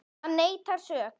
Hann neitar sök.